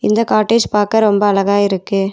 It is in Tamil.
இந்த காட்டேஜ் பாக்க ரொம்ப அழகா இருக்கு.